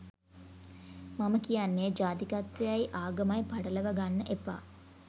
මම කියන්නේ ජාතිකත්වයයි ආගමයි පටලවාගන්න එපා